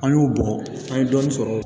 An y'o bɔn an ye dɔɔnin sɔrɔ